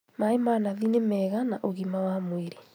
Maĩ ma nathi nĩ mega na ũgima wa mwĩrĩ